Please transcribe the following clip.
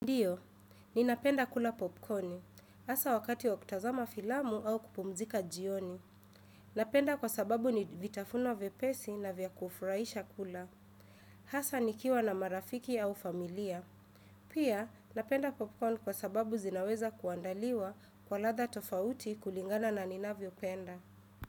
Ndiyo, ninapenda kula popcorni, hasa wakati wakutazama filamu au kupumzika jioni. Napenda kwa sababu ni vitafuno vyepesi na vyakufuraisha kula. Hasa nikiwa na marafiki au familia. Pia, napenda popcorn kwa sababu zinaweza kuandaliwa kwa latha tofauti kulingana na ninavyo penda.